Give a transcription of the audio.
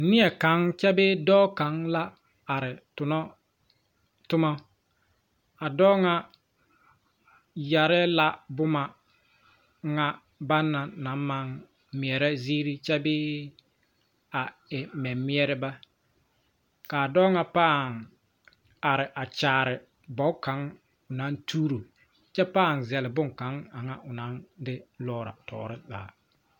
Neɛkaŋa kyɛ bee dɔɔ kaŋa la are tonnɔ toma a dɔɔ ŋa yɛre la boma ŋa banna naŋ maŋ meɛrɛ ziiri kyɛ bee a e meɛmeɛreba ka a dɔɔ ŋa pãã are a kyaare bogi aŋ o naŋ tuuro kyɛ pãã zɛle boŋkaŋa aŋa o naŋ de lɔɔrɔ tɔɔre zaa.